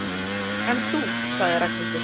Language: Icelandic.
En þú sagði Ragnhildur.